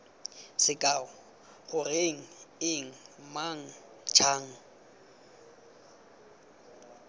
sekao goreng eng mang jang